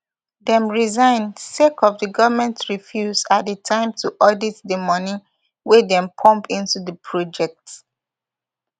dem resign sake of di goment refuse at di time to audit di moni wey dem pump into di project